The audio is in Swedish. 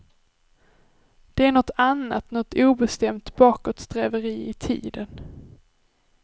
Det är nåt annat, nåt obestämt bakåtsträveri i tiden.